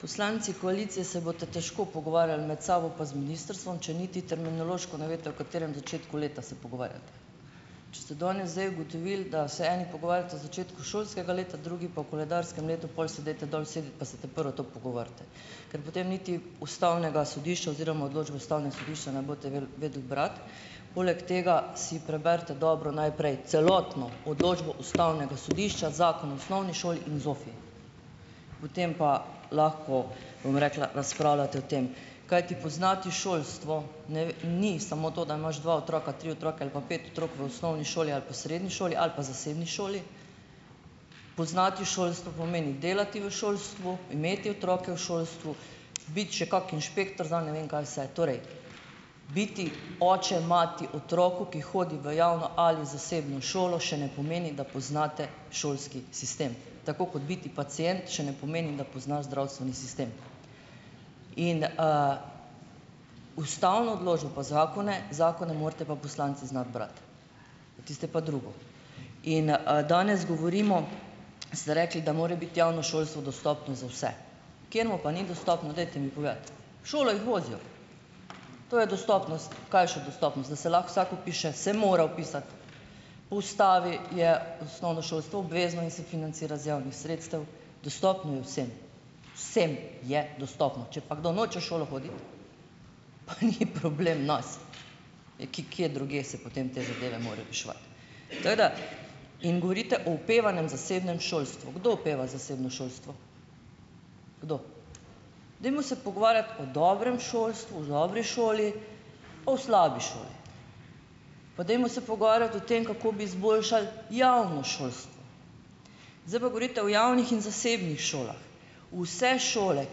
Poslanci koalicije se boste težko pogovarjali med sabo pa z ministrstvom, če niti terminološko ne veste, o katerem začetku leta se pogovarjate. Če ste danes zdaj ugotovili, da se eni pogovarjate o začetku šolskega leta, drugi pa o koledarskem letu, pol se dajte dol usesti pa se ta prvo to pogovorite, ker potem niti Ustavnega sodišča oziroma odločbo Ustavnega sodišča ne boste vel, vedeli brati. Poleg tega si preberite dobro najprej celotno odločbo Ustavnega sodišča, Zakon o osnovni šoli in ZOFVI, potem pa lahko, bom rekla, razpravljate o tem. Kajti poznati šolstvo ne vem, ni samo to, da imaš dva otroka, tri otroke ali pa pet otrok v osnovni šoli ali pa srednji šoli ali pa zasebni šoli. Poznati šolstvo pomeni delati v šolstvu, imeti otroke v šolstvu, biti še kak inšpektor za ne vem kaj vse. Torej, biti oče, mati otroku, ki hodi v javno ali zasebno šolo, še ne pomeni, da poznate šolski sistem. Tako kot biti pacient še ne pomeni, da pozna zdravstveni sistem. In ustavno odločbo zakone, zakone morate pa poslanci znati brati, tisto je pa drugo. In danes govorimo ... Ste rekli, da mora biti javno šolstvo dostopno za vse. Kateremu pa ni dostopno, dajte mi povedati? V šolo jih vozijo, to je dostopnost. Kaj je še dostopnost? Da se lahko vsak vpiše - se mora vpisati. Po ustavi je osnovno šolstvo obvezno in se financira iz javnih sredstev. Dostopno je vsem, vsem je dostopno, če pa kdo noče v šolo hoditi, pa ni problem v nas, ki, kje drugje se potem te zadeve morajo reševati. Tako da ... In govorite o opevanem zasebnem šolstvu. Kdo opeva zasebno šolstvo? Kdo? Dajmo se pogovarjati o dobrem šolstvu, o dobri šoli, o slabi šoli. Pa dajmo se pogovarjati o tem, kako bi zboljšali javno šolstvo. Zdaj pa govorite o javnih in zasebnih šolah. Vse šole,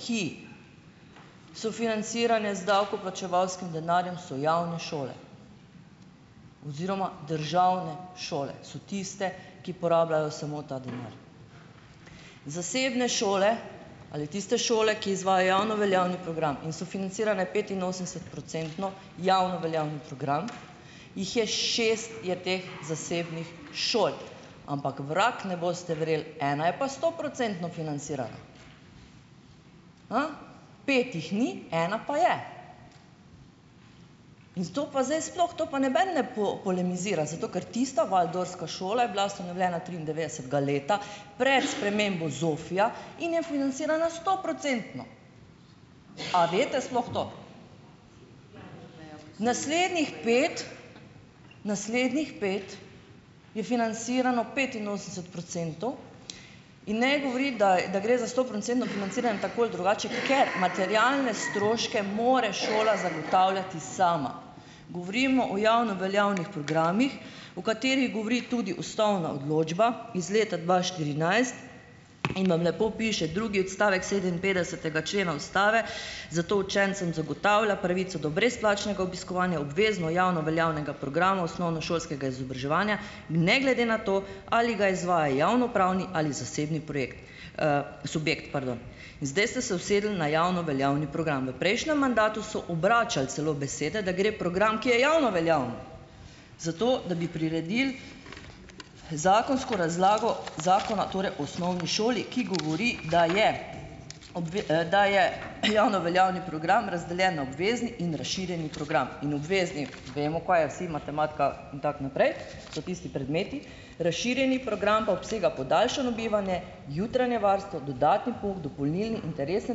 ki so financirane z davkoplačevalskim denarjem, so javne šole oziroma državne šole so tiste, ki porabljajo samo ta denar. Zasebne šole ali tiste šole, ki izvajajo javno veljavni program in so financirane petinosemdesetprocentno, javno veljavni program, jih je, šest je teh zasebnih šol, ampak vrag, ne boste verjeli, ena je pa stoprocentno financirana. Pet jih ni, ena pa je. In z to pa zdaj sploh, to pa noben ne, po, polemizira, zato ker tista Waldorfska šola je bila ustanovljena triindevetdesetega leta, pred spremembo ZOFVI-ja in je financirana stoprocentno. A veste sploh to? Naslednjih pet. Naslednjih pet je finansirano petinosemdeset procentov in ne govoriti, da j, da gre za sto procentno financiranje tako ali drugače, ker materialne stroške mora šola zagotavljati sama. Govorimo o javno veljavnih programih, o katerih govori tudi ustavna odločba iz leta dva štirinajst in vam lepo piše drugi odstavek sedeminpetdesetega člena Ustave: "Zato učencem zagotavlja pravico do brezplačnega obiskovanja obvezno javno veljavnega programa osnovnošolskega izobraževanja, ne glede na to, ali ga izvaja javnopravni ali zasebni projekt, subjekt," pardon. In zdaj ste se usedli na javno veljavni program, v prejšnjem mandatu so obračali celo besede, da gre program, ki je javno veljaven, zato da bi priredili zakonsko razlago Zakona torej o osnovni šoli, ki govori, da je da je javno veljavni program razdeljen na obvezni in razširjeni program in obvezni, vemo, kaj je, vsi, matematika in tako naprej, to so tisti predmeti, razširjeni program pa obsega podaljšano bivanje, jutranje varstvo, dodatni pouk, dopolnilni, interesne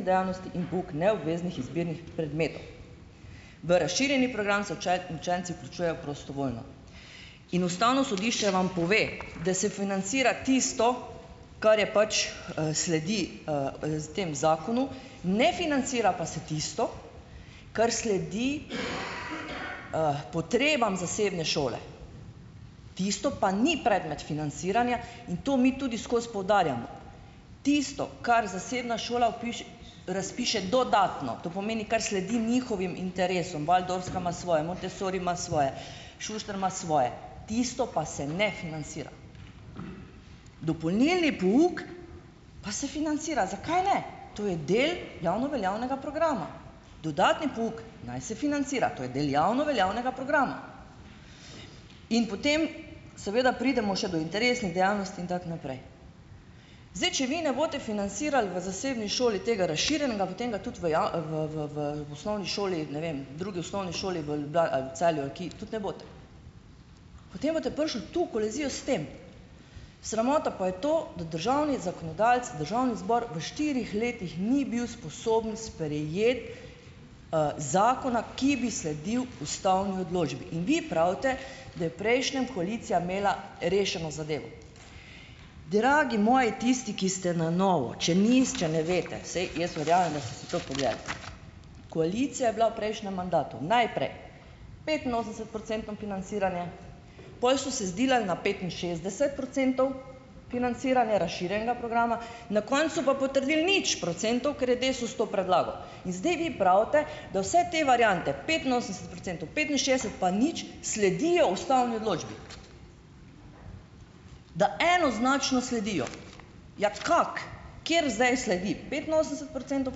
dejavnosti in pouk neobveznih izbirnih predmetov. V razširjeni program se uče, učenci vključujejo prostovoljno. In Ustavno sodišče vam pove, da se financira tisto, kar je pač, sledi z temu zakonu, ne financira pa se tisto, kar sledi potrebam zasebne šole. Tisto pa ni predmet financiranja in to mi tudi skoz poudarjamo. Tisto, kar zasebna šola razpiše dodatno, to pomeni, kar sledi njihovim interesom, Waldorfska ima svoje, Montessori ima svoje, Šuštar ima svoje, tisto pa se ne finansira. dopolnilni pouk pa se financira - zakaj le? To je del javno veljavnega programa. Dodatni pouk naj se financira, to je del javno veljavnega programa. In potem seveda pridemo še do interesnih dejavnosti in tako naprej. Zdaj, če vi ne boste finansirali v zasebni šoli tega razširjenega, potem ga tudi v javi, v, v, v osnovni šoli, ne vem, drugi osnovni šoli v Ljubljani ali v Celju ali ki tudi ne boste. Potem boste prišli tu v kolizijo s tem. Sramota pa je to, da državni zakonodajalec, Državni zbor v štirih letih ni bil sposoben sprejeti zakona, ki bi sledil ustavni odločbi, in vi pravite, da je prejšnja koalicija imela rešeno zadevo. Dragi moji, tisti, ki ste na novo, če nisi, če ne veste, saj jaz verjamem, da ste si to pogledali. Koalicija je bila v prejšnjem mandatu najprej petinosemdesetprocentno financiranje, pol so se zdilali na petinšestdeset procentov financiranja razširjenega programa, na koncu pa potrdili nič procentov, ker je Desus to predlagal. In zdaj vi pravite, da vse te variante: petinosemdeset procentov, petinšestdeset pa nič, sledijo ustavni odločbi. Da enoznačno sledijo, ja kako? Kateri zdaj sledi? Petinosemdeset procentov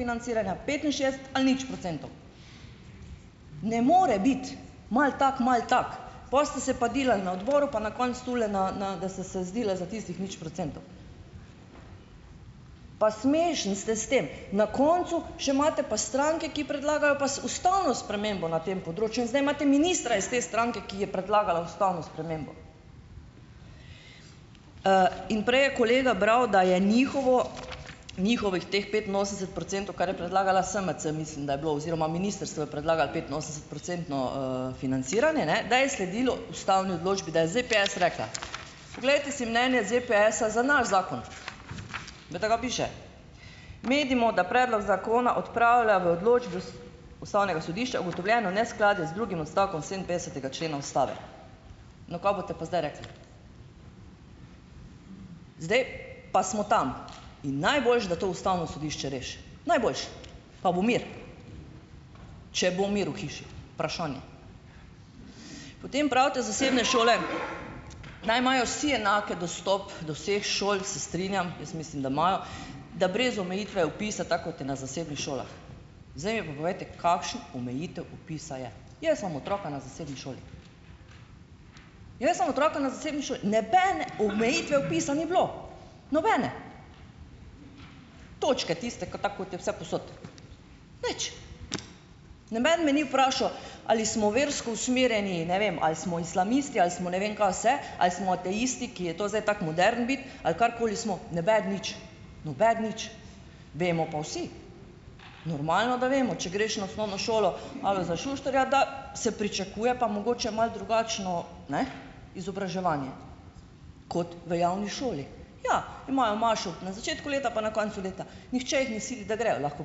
financiranja, petinšestdeset ali nič procentov? Ne more biti malo tako, malo tako. Pol ste se pa delali na odboru pa na koncu tule, na, na, da ste se zdilali za tistih nič procentov. Pa smešni ste s tem. Na koncu še imate pa stranke, ki predlagajo pa ustavno spremembo na tem področju in zdaj imate ministra iz te stranke, ki je predlagala ustavno spremembo. In prej je kolega bral, da je njihovo, njihovih teh petinosemdeset procentov, kar je predlagala SMC, mislim, da je bilo oziroma ministrstvo je predlagalo petinosemdesetprocentno financiranje, ne, da je sledilo ustavni odločbi, da je ZPS rekla. Poglejte si mnenje ZPS-a za naš zakon. Glejte kaj piše: "Menimo, da predlog zakona odpravlja v odločbi Ust Ustavnega sodišča ugotovljeno neskladje z drugim odstavkom sedeminpetdesetega člena Ustave." No, kaj boste pa zdaj rekli? Zdaj pa smo tam in najboljše, da to Ustavno sodišče reši. Najboljše. Pa bo mir. Če bo mir v hiši. Vprašanje. Potem pravite, zasebne šole naj imajo vsi enak dostop do vseh šol, se strinjam, jaz mislim, da imajo, da brez omejitve vpisa, tako kot je na zasebnih šolah. Zdaj mi pa povejte, kakšna omejitev vpisa je? Jaz imam otroka na zasebni šoli. Jaz imam otroka na zasebni šoli. Nobene omejitve vpisa ni bilo, nobene. Točke, tiste ki, tako kot je vsepovsod. Nič. Noben me ni vprašal, ali smo versko usmerjeni, ne vem, ali smo islamisti ali smo ne vem kaj vse, ali smo ateisti, ki je to zdaj tako moderno biti ali karkoli smo. Nobeden nič. Nobeden nič. Vemo pa vsi. Normalno, da vemo, če greš na osnovno šolo ali za Šuštarja, da se pričakuje pa mogoče malo drugačno, ne, izobraževanje, kot v javni šoli. Ja, imajo mašo na začetku leta pa na koncu leta. Nihče jih ne sili, da grejo. Lahko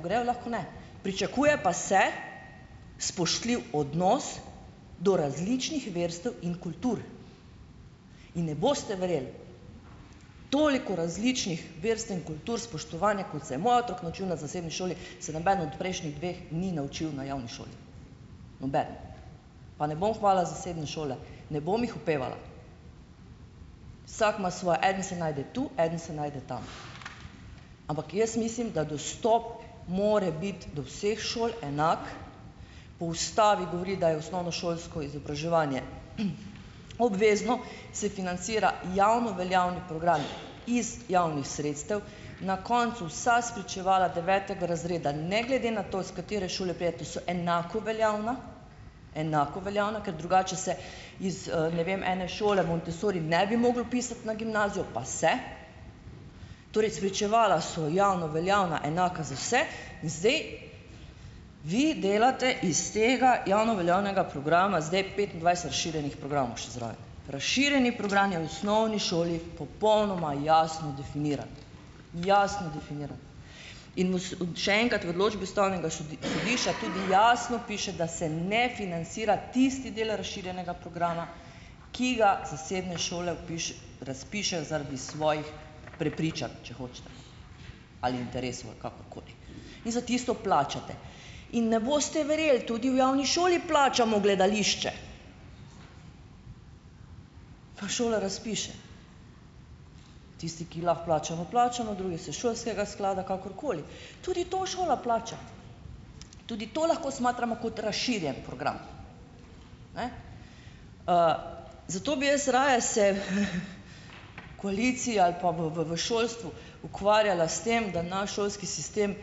grejo, lahko ne. Pričakuje pa se spoštljiv odnos do različnih verstev in kultur. In ne boste verjeli. Toliko različnih verstev in kultur, spoštovani, kot se je moj otrok naučil na zasebni šoli, se nobeden od prejšnjih dveh ni naučil na javni šoli. Nobeden. Pa ne bom hvalila zasebne šole, ne bom jih opevala. Vsak ima svoje. En se najde tu, eden se najde tam. Ampak jaz mislim, da dostop mora biti do vseh šol enak, po Ustavi govori, da je osnovnošolsko izobraževanje obvezno, se financira javno veljavni program iz javnih sredstev, na koncu vsa spričevala devetega razreda, ne glede na to, s katere šole pridete, to so enako veljavna. Enako veljavna, ker drugače se iz, ne vem, ene šole Montessori ne bi mogel vpisati na gimnazijo, pa se. Torej, spričevala so javno veljavna, enaka za vse in zdaj vi delate iz tega javno veljavnega programa zdaj petindvajset razširjenih programov še zraven. Razširjeni program je v osnovni šoli popolnoma jasno definiran. Jasno definiran. In kako so, še enkrat, v odločbi Ustavnega sodi sodišča tudi jasno piše, da se ne finansira tisti del razširjenega programa, ki ga zasebne šole razpišejo zaradi svojih prepričanj, če hočete, ali interesov ali kakorkoli. In za tisto plačate. In ne boste verjeli, tudi v javni šoli plačamo gledališče. Pa šola razpiše, tisti, ki lahko plačamo, plačamo, drugi se iz šolskega sklada, kakorkoli. Tudi to šola plača. Tudi to lahko smatramo kot razširjen program. Ne? Zato bi jaz raje se, koalicija, ali pa v, v, v šolstvu, ukvarjala s tem, da naš šolski sistem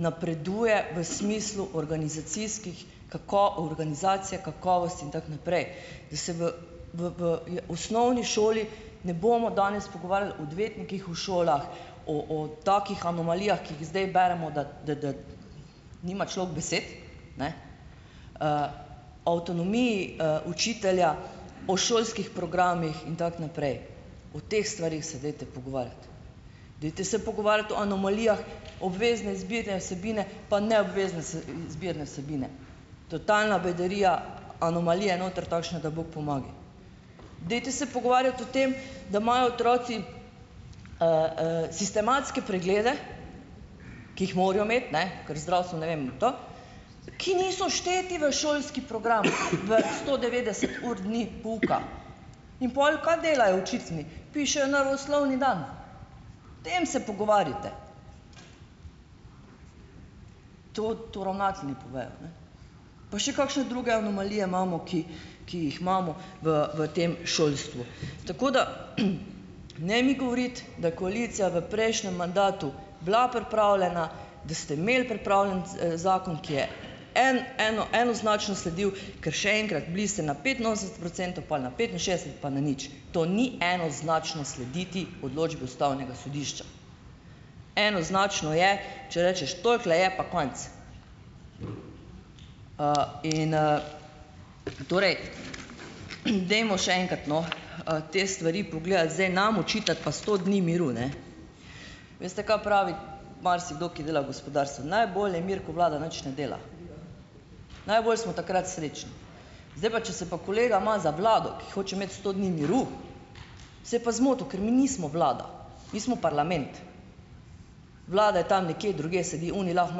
napreduje v smislu organizacijskih, kako, organizacija kakovosti in tako naprej, da se v v, v, javi, v osnovni šoli ne bomo danes pogovarjali o odvetnikih v šolah, o, o takih anomalijah, ki jih zdaj beremo, da, da, da nima človek besed. Ne? O avtonomiji učitelja, o šolskih programih in tako naprej. O teh stvareh se dajte pogovarjati. Dajte se pogovarjati o anomalijah, obvezne izbirne vsebine pa neobvezne s izbirne vsebine. Totalna bedarija, anomalije noter takšne, da bog pomagaj. Dajte se pogovarjati o tem, da imajo otroci sistematske preglede, ki jih morajo imeti, ne, kar zdravstvo, ne vem, in to, ki niso šteti v šolski program v sto devetdeset ur dni pouka. In pol kaj delajo učitelji? Pišejo naravoslovni dan. O tem se pogovarjajte. To, to ravnatelji povejo, ne. Pa še kakšne druge anomalije imamo, ki ki jih imamo v, v tem šolstvu. Tako da ne mi govoriti, da je koalicija v prejšnjem mandatu bila pripravljena, da ste imeli pripravljen ts, zakon, ki je en, eno, enoznačno sledil, ker, še enkrat, bili ste na petinosemdeset procentov, pol na petinšestdeset pa na nič. To ni enoznačno slediti odločbi Ustavnega sodišča. Enoznačno je, če rečeš: "Tolikole je, pa konc." In ... Torej ... Dajmo še enkrat, no, te stvari pogledati. Zdaj, nam očitati pa sto dni miru, ne. Veste, kaj pravi marsikdo, ki dela v gospodarstvu? Najbolj je mir, ko vlada nič ne dela. Najbolj smo takrat srečni. Zdaj pa - če se pa kolega ima za vlado, ki hoče imeti sto dni miru - se je pa zmotil. Ker mi nismo vlada. Mi smo parlament. Vlada je tam nekje drugje sedi, oni lahko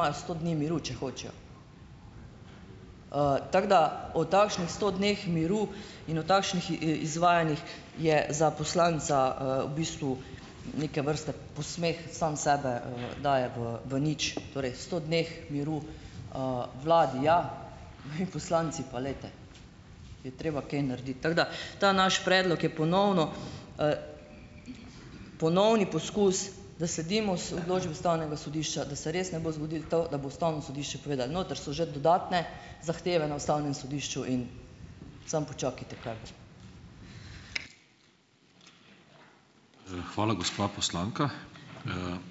imajo sto dni miru, če hočejo. Tako da - o takšnih sto dneh miru in o takšnih in iz izvajanjih je za poslanca v bistvu neke vrste posmeh, sam sebe daje v, v nič. Torej, sto dneh miru vladi, ja, mi poslanci pa, glejte ... Je treba kaj narediti. Tako da - ta naš predlog je ponovno - ponovni poskus, da sledimo s odločbi Ustavnega sodišča, da se res ne bo zgodilo to, da bo Ustavno sodišče povedalo. Notri so že dodatne zahteve na Ustavnem sodišču in samo počakajte, kaj bo.